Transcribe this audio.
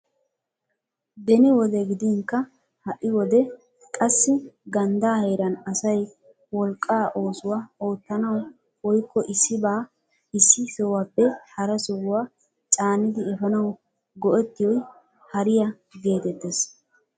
Beni wode gidinkka ha'i wode qassi ganddaa heeran asay wolqqa oosuwaa oottanawu woykko issibaa issi sohuwaappe hara sohuwaa caanidi eefanawu go"ettiyoy hariyaa getettees.